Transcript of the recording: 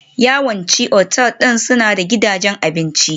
Yawancin otal ɗin suna da gidajen abinci.